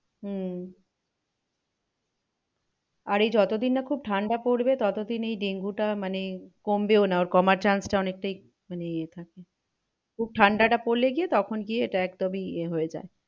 হম আর এ যত দিন না খুব ঠান্ডা পড়বে তত দিন এই ডেঙ্গুটা মানে কমবেও না ওর কমার chance টা অনেকটাই মানে এ থাকে। খুব ঠান্ডাটা পড়লে গিয়ে তখন গিয়ে এটা একদমই ইয়ে হয়ে যায়